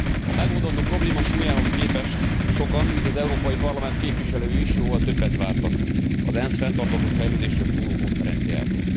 A megoldandó probléma súlyához képest sokan így az Európai Parlament képviselői is jóval többet vártak az ENSZ fenntartható fejlődésről szóló konferenciájától.